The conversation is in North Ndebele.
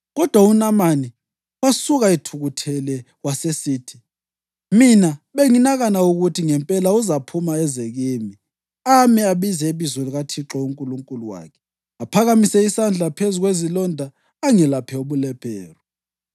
Kodwa uNamani wasuka ethukuthele wasesithi: “Mina benginakana ukuthi ngempela uzaphuma eze kimi ame abize ibizo likaThixo uNkulunkulu wakhe, aphakamise isandla phezu kwezilonda angelaphe ubulephero.